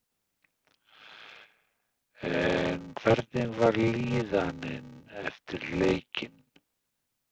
En hvernig var líðanin eftir leikinn?